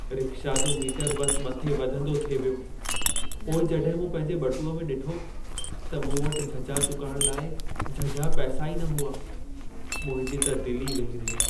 Rickshaw जो meter बस मथे वधंदो थिए वियो। पोइ जॾहिं मूं पंहिंजे ॿटूंअ में ॾिठो, त मूं वटि झझा चुकाइण लाइ झझा पैसा ई न हुआ। मुंहिंजी त दिल ई वेही रही।